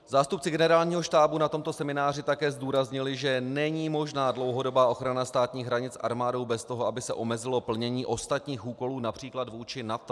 Zástupci Generálního štábu na tomto semináři také zdůraznili, že není možná dlouhodobá ochrana státních hranic armádou bez toho, aby se omezilo plnění ostatních úkolů, například vůči NATO.